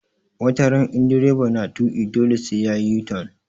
Wataran in direba na tuƙi dole sai yayi u-turn